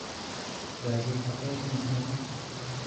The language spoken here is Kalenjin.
Yoche ikat toek eng neut